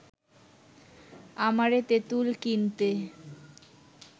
আমারে তেঁতুল কিনতে